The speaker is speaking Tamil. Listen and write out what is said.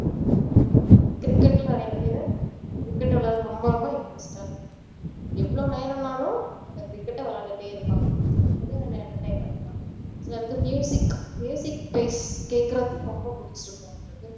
cricket ல நிறைய பேரு cricket விளையாடுறதுல ரொம்ப ரொம்ப interest ஆ இருப்பாங்க எவ்வளோ நேரம் ஆனாலும் அந்த cricket அ விளையாடிட்டே இருப்பாங்க அதுவும் நல்ல entertainment தான் சிலருக்கு music stage கேக்குறதுக்கு ரொம்ப புடிச்சி இருக்கும்